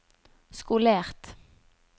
skolert